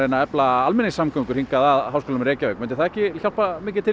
að efla almenningssamgöngur að Háskólanum í Reykjavík myndi það ekki hjálpa mikið til